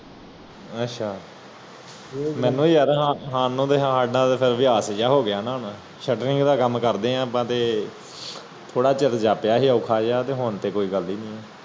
ਅੱਛਾ ਮੈਨੂੰ ਯਾਰ ਮੈਨੂੰ ਯਾਰ ਅਭਿਆਸ ਜਿਹਾ ਹੋਗਿਆ ਹੁਣ ਕਾਮ ਕਰਦੇ ਆ ਆਪ ਤੇ ਥੋੜਾ ਚਿਰ ਜਾਪਿਆ ਸੀ ਅਉਖਾ ਜਿਹਾ ਹੁਣ ਤਾ ਕੋਈ ਗੱਲ ਨੀ